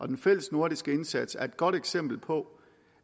den fælles nordiske indsats er et godt eksempel på